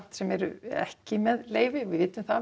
sem eru ekki með leyfi við vitum það